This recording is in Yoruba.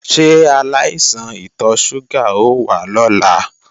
Ṣé aláìsàn ìtọ ṣúgà o wá lọ́la?